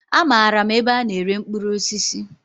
Amaara m ebe a na-ere mkpụrụ osisi.